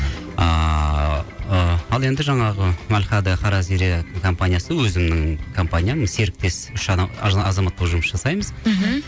ыыы ал енді жаңағы әль хада қара зере компаниясы өзімнің компаниям серіктес үш адам азамат болып жұмыс жасаймыз мхм